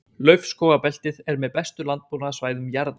Laufskógabeltið er með bestu landbúnaðarsvæðum jarðar.